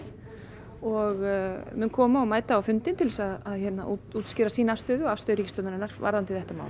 og mun koma og mæta á fundinn til að útskýra sína afstöðu og afstöðu ríkisstjórnarinnar varðandi þetta mál